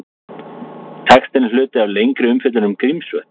Textinn er hluti af lengri umfjöllun um Grímsvötn.